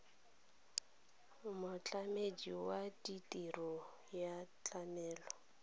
motlamedi wa tirelo ya tlamelo